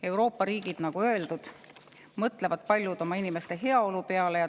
Euroopa riigid, nagu öeldud, mõtlevad paljud oma inimeste heaolu peale.